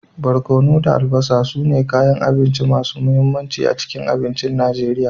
Barkono da albasa su ne kayan abinci masu mahimmanci a cikin abincin Najeriya.